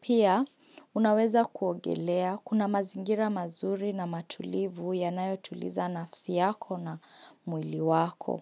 Pia, unaweza kuogelea kuna mazingira mazuri na matulivu yanayo tuliza nafsi yako na mwili wako.